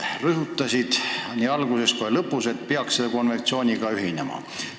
Sa rõhutasid nii alguses kui lõpus, et peaks selle konventsiooniga ühinema.